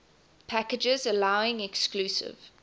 packages allowing exclusive